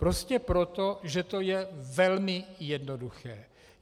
Prostě proto, že to je velmi jednoduché.